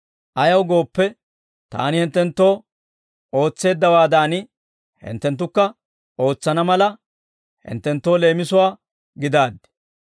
Ayaw gooppe, Taani hinttenttoo ootseeddawaadan, hinttenttukka ootsana mala, hinttenttoo leemisuwaa gidaaddi.